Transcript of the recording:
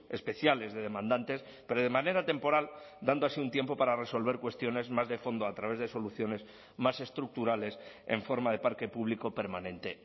especiales de demandantes pero de manera temporal dando así un tiempo para resolver cuestiones más de fondo a través de soluciones más estructurales en forma de parque público permanente